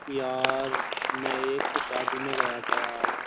यार मैं एक शादी में गया था यार।